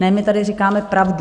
Ne, my tady říkáme pravdu.